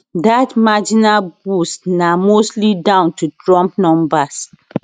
dat marginal boost na mostly down to trump numbers